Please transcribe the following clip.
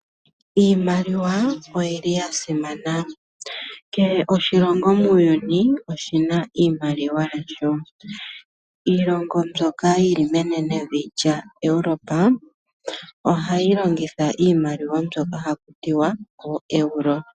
Iimaliwa oyili ya simana. Kehe oshilongo muuyuni oshina iimaliwa yasho. Iilongo mbyoka yili menenevi lyaEurope ohayi longitha iimaliwa mbyoka haku tiwa oEuro.